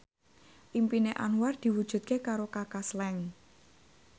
impine Anwar diwujudke karo Kaka Slank